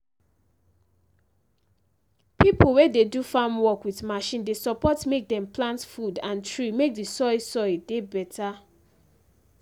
pipo wey dey do farm work with machine dey support mek dem plant food and tree mek de soil soil dey better